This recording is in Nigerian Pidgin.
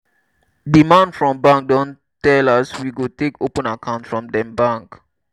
di man from bank don tell as we go take open account for dem bank.